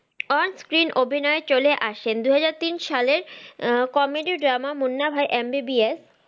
On screen অভিনয়ে চলে আসেন দুহাজার তিন সালে comedy drama Munna Bhai MBBS